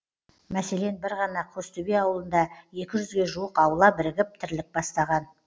мәселен бір ғана қостөбе ауылында екі жүзге жуық аула бірігіп тірлік бастаған